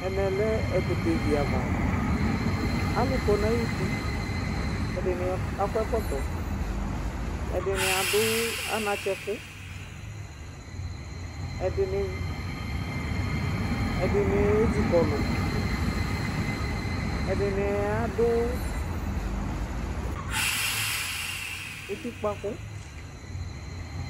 Ɛmɛ lɛ ɛkʋtɛ vi ava Alʋ kɔ n'ay'uti, ɛdini ak'ɔkɔtɔ, ɛdini adʋ anatsɛ kʋ, ɛdini ezikɔlʋ, edini adʋ utikpa kʋ